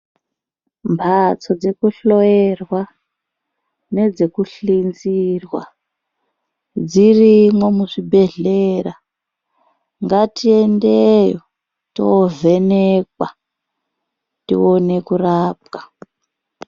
Mphatso dzekuhloyerwa nedzekuhlinzirwa dzirimo muzvibhedhlera , ngatiendeyo tovhenekwa tiwone kurapwa.